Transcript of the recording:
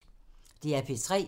DR P3